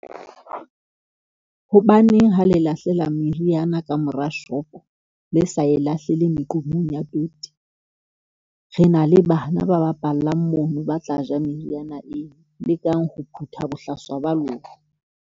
Hobaneng ha le lahlela meriana ka mora shop-o, le sa e lahlele meqomong ya toti? Re na le bana ba bapallang mono ba tla ja meriana eo, lekang ho phutha bohlaswa ba lona.